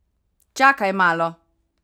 Čakaj malo!